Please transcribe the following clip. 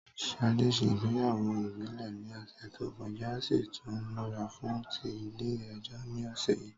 Ṣadé se ìgbéyàwó ìbílẹ̀ ní òsè tó kọjá o si tún n múra fún ti Ilé ejó ní òsè yi